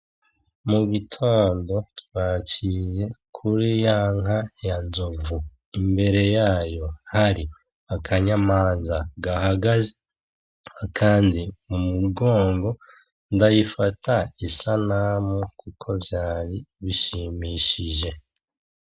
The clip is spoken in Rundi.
Mu gitondo twaciye kuri ya nka ya Nzovu. Imbere yayo hari akanyamanza gahagaze, akandi mu mugongo, ndayifata isanamu kuko vyari bishimishije.